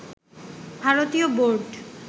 ভারতীয় বোর্ড